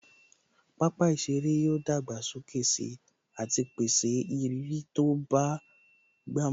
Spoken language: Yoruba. Pápá ìṣeré yóò dàgbà sókè sí àti pèsè ìrírí tó bá gbà mu